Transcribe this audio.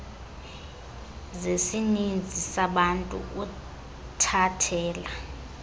zesininzi sabantu uthathela